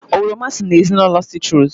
Oroma si n'ezinụlọ sitrus